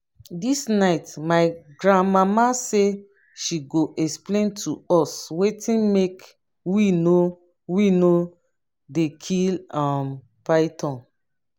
dis night my grandmama say she go explain to us wetin make we no we no dey kill um python